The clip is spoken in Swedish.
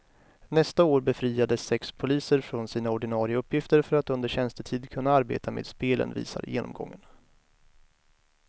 Nästa år befriades sex poliser från sina ordinarie uppgifter för att under tjänstetid kunna arbeta med spelen, visar genomgången.